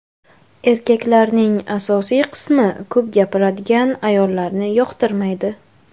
Erkaklarning asosiy qismi ko‘p gapiradigan ayollarni yoqtirmaydi.